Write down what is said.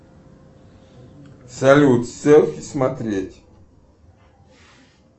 салют селфи смотреть